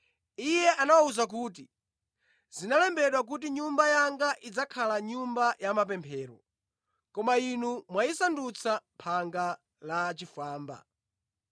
Iye anawawuza kuti, “Zinalembedwa kuti Nyumba yanga idzakhala nyumba ya mapemphero, koma inu mwayisadutsa phanga la achifwamba.”